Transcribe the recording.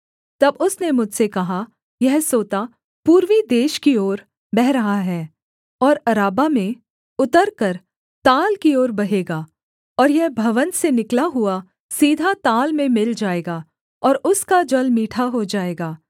तब उसने मुझसे कहा यह सोता पूर्वी देश की ओर बह रहा है और अराबा में उतरकर ताल की ओर बहेगा और यह भवन से निकला हुआ सीधा ताल में मिल जाएगा और उसका जल मीठा हो जाएगा